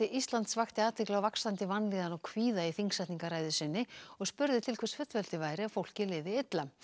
Íslands vakti athygli á vaxandi vanlíðan og kvíða í þingsetningarræðu sinni og spurði til hvers fullveldi væri ef fólki liði illa